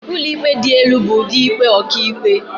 Ụlọikpe dị elu bụ ụdị ikpe ọkàikpe..